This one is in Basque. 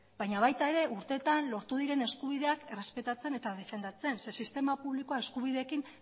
baina baita ere urteetan lortu diren eskubideak errespetatzen eta defendatzen zeren sistema publikoa eskubideekin